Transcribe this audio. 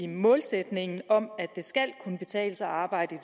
målsætningen om at det skal kunne betale sig at arbejde